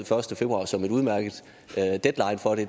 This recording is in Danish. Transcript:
første februar som en udmærket deadline for det